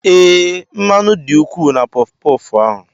Ee, mmanụ dị ukwuu na puffu-puffu ahụ.